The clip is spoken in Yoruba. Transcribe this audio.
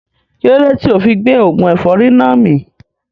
Kílódé tíì ofi gbé oògùn ẹ̀fọ́rì náà mì